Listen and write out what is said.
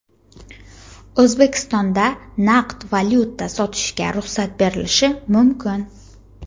O‘zbekistonda naqd valyuta sotishga ruxsat berilishi mumkin.